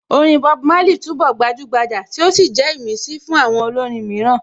Orin Bob Marley túnbọ̀ gbajúgbajà tí ó sì jẹ́ ìmísí fún àwọn olórin mìíràn